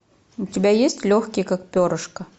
у тебя есть легкий как перышко